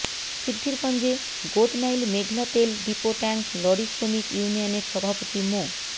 সিদ্ধিরগঞ্জে গোদনাইল মেঘনা তেল depot tank lorry শ্রমিক ইউনিয়নের সভাপতি মো